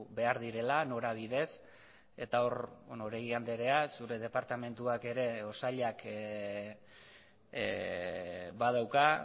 behar direla norabidez eta hor oregi andrea zure departamentuak ere edo sailak badauka